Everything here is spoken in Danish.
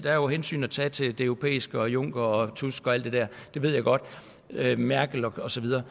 er jo hensyn at tage til det europæiske juncker tusk og alt det der merkel og så videre